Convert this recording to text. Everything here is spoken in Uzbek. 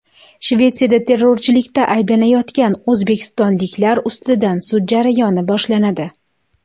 Shvetsiyada terrorchilikda ayblanayotgan o‘zbekistonliklar ustidan sud jarayoni boshlanadi.